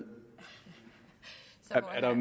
herre